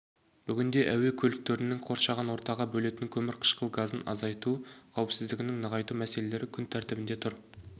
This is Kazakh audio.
бүгінде әуе көліктерінің қоршаған ортаға бөлетін көмір қышқыл газын азайту қауіпсіздігін нығайту мәселелері күн тәртібінде тұр